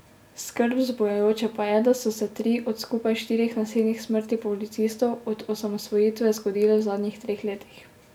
Skrb vzbujajoče pa je, da so se tri od skupaj štirih nasilnih smrti policistov od osamosvojitve zgodile v zadnjih treh letih.